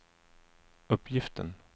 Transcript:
uppgiften